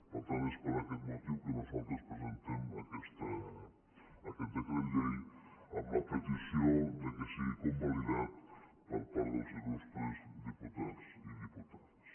per tant és per aquest motiu que nosaltres presentem aquest decret llei amb la petició que sigui convalidat per part dels il·lustres diputats i diputades